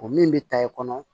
O min bɛ ta i kɔnɔ